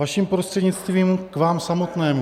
Vaším prostřednictvím k vám samotnému.